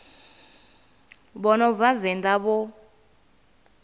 vha no bva venḓa vho